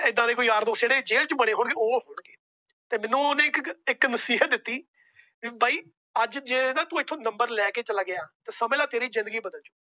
ਏਦਾਂ ਦੇ ਯਾਰ ਦੋਸਤ ਜੋ ਜੇਲ ਚ ਬਣੇ ਹੋਣਗੇ। ਉਹ ਮੈਨੂੰ ਉਹਨੇ ਇੱਕ ਨਸੀਹਤ ਦਿੱਤੀ ਕਿ ਬਾਈ ਅੱਜ ਜੇ ਤੂੰ ਏਥੋਂ Number ਲੈਕੇ ਚਲਾ ਗਿਆ। ਤਾ ਸਮਝ ਲੈ ਤੇਰੀ ਜਿੰਦਗੀ ਬਦਲ ਗਈ।